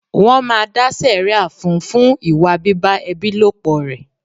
Wọn máa dá sẹ̀ríà fún un fún ìwà bíbá ẹbí lòpọ̀ rẹ̀.